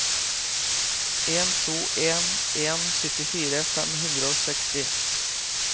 en to en en syttifire fem hundre og seksti